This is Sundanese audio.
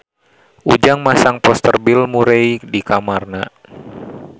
Ujang masang poster Bill Murray di kamarna